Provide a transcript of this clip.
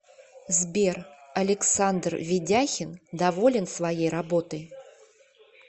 сбер александр ведяхин доволен своей работой